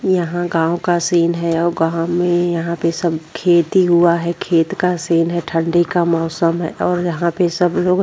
यहाँ गांव का सीन है और गाँव में यहां पे सब खेती हुआ है। खेत का सीन है ठंडी का मौसम है और यहाँ पे सब लोग --